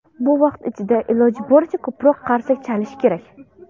Bu vaqt ichida iloji boricha ko‘proq qarsak chalish kerak.